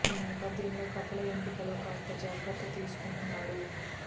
ఈ నేపథ్యం లో కథల ఎంపిక లో కాస్త జాగ్రత్త తీసుకుంటున్నాడు